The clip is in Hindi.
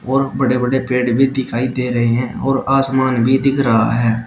और बड़े बड़े पेड़ भी दिखाई दे रहे हैं और आसमान भी दिख रहा है।